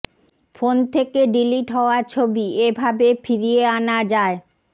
phone থেকে delete হওয়া ছবি এভাবে ফিরিয়ে আনা যায়